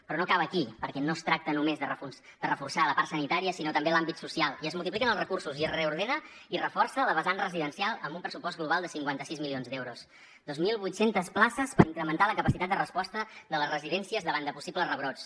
però no acaba aquí perquè no es tracta només de reforçar la part sanitària sinó també l’àmbit social i es multipliquen els recursos i es reordena i es reforça la vessant residencial amb un pressupost global de cinquanta sis milions d’euros dos mil vuit cents places per incrementar la capacitat de resposta de les residències davant de possibles rebrots